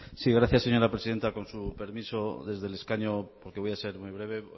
gracias señora presidenta con su permiso desde el escaño porque voy a ser muy breve